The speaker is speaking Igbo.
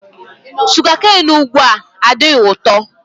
Sugakain ugbua adịghị ụtọ.